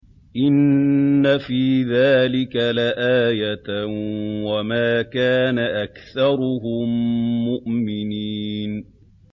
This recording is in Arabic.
إِنَّ فِي ذَٰلِكَ لَآيَةً ۖ وَمَا كَانَ أَكْثَرُهُم مُّؤْمِنِينَ